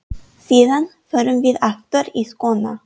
Síðan förum við aftur í skóna.